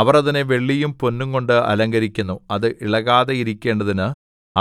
അവർ അതിനെ വെള്ളിയും പൊന്നുംകൊണ്ട് അലങ്കരിക്കുന്നു അത് ഇളകാതെയിരിക്കേണ്ടതിന്